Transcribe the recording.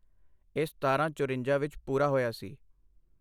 ਇਹ ਸਤਾਰਾਂ ਚੁਰੰਜਾਂ ਵਿੱਚ ਪੂਰਾ ਹੋਇਆ ਸੀ